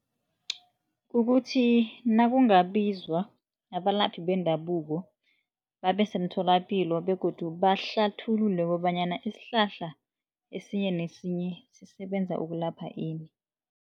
Kukuthi nakungabizwa abalaphi bendabuko babesemtholapilo begodu bahlathulule kobanyana isihlahla esinye nesinye sisebenza ukulapha ini.